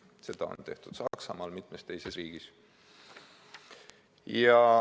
Seda on tehtud Saksamaal ja mitmes teises riigis.